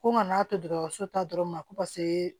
Ko n ka n'a to dɔgɔtɔrɔso ta dɔrɔn ma ko paseke